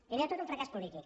primer de tot un fracàs polític